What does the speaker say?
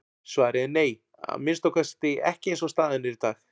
Svarið er nei, að minnsta kosti ekki eins og staðan er í dag.